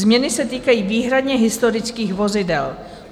Změny se týkají výhradně historických vozidel.